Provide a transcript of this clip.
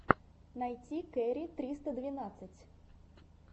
найти кэрри триста двенадцать